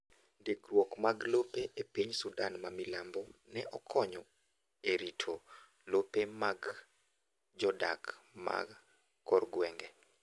Ndikruok mag lope e piny Sudan ma milambo ne okonyo e rito lope mag jodak ma korgwenge.